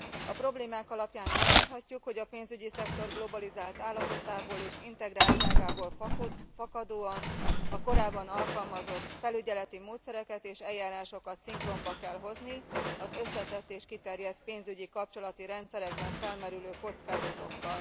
A problémák alapján elmondhatjuk, hogy a pénzügyi szektor globalizált állapotából és integráltságából fakadóan a korábban alkalmazott felügyeleti módszereket és eljárásokat szinkronba kell hozni az összetett és kiterjedt pénzügyi kapcsolati rendszerekben felmerülő kockázatokkal.